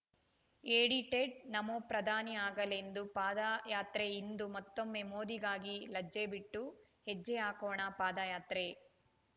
edited Namo ಪ್ರಧಾನಿ ಆಗಲೆಂದು ಪಾದಯಾತ್ರೆ ಇಂದು ಮತ್ತೊಮ್ಮೆ ಮೋದಿಗಾಗಿ ಲಜ್ಜೆ ಬಿಟ್ಟು ಹೆಜ್ಜೆ ಹಾಕೋಣ ಪಾದಯಾತ್ರೆ